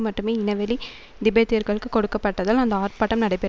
மட்டுமே இனவெழி திபெத்தியர்களுக்கு கொடுக்கப்பட்டதால் அந்த ஆர்ப்பாட்டம் நடைபெற்